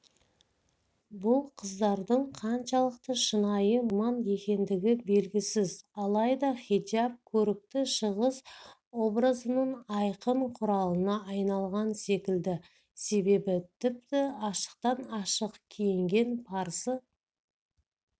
бұл қыздардың қаншалықты шынайы мұсылман екендігі белгісіз алайда хиджаб көрікті шығыс образының айқын құралына айналған секілді себебі тіпті ашықтан-ашық киінген парсы